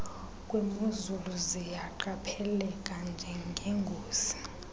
kwimozulu ziyaqapheleka njengengozi